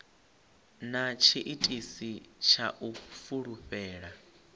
na tshiitisi tsha u fulufhela